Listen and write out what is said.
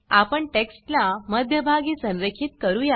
आपण टेक्स्ट ला मध्य भागी संरेखित करूया